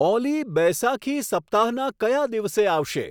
ઓલી બૈસાખી સપ્તાહના કયા દિવસે આવશે